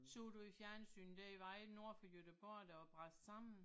Så du i fjernsynet der i vejen nord for Göteborg der var brast sammen?